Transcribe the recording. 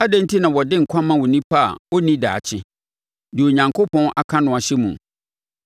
Adɛn enti na wɔde nkwa ma onipa a ɔnni daakye, deɛ Onyankopɔn aka no ahyɛ mu?